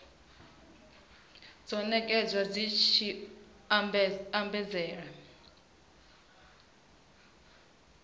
dzo nekedzwa dzi tshi ombedzela